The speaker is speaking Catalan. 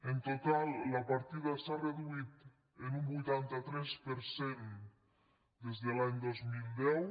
en total la partida s’ha reduït en un vuitanta tres per cent des de l’any dos mil deu